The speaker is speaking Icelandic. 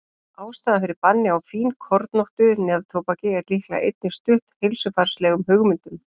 Ástæðan fyrir banni á fínkornóttu neftóbaki er líklega einnig stutt heilsufarslegum hugmyndum.